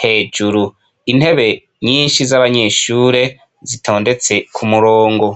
hejuru, intebe nyinshi z'abanyeshure, zitondetse kumurongo.